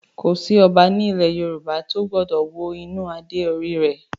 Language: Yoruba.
Kò sí Ọba ní ilẹ̀ Yorùbá tó gbọ́dọ̀ wo inú adé orí rẹ̀